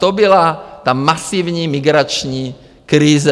To byla ta masivní migrační krize.